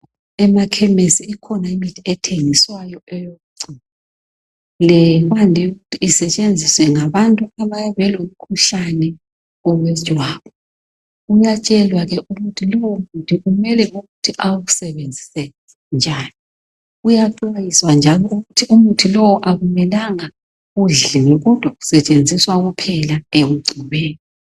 Emakhemisi ikhona imithi ethengiswayo eyokugcoba kwande ukuthi isetshenziswe ngabantu abayabe belomkhuhlane wejwabu uyatshelwa ke ukuthi lowo muthi kumele ukuthi awusebenzise njani uyaxwayiswa njalo ukuthi umuthi lowo akumelanga udliwe kodwa usetshenziswa kuphela ekugcobeni